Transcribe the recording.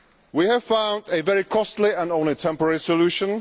We have found a very costly and only temporary solution.